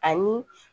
Ani